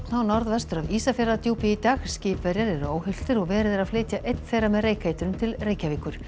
norðvestur af Ísafjarðardjúpi í dag skipverjar eru óhultir og verið er að flytja einn þeirra með reykeitrun til Reykjavíkur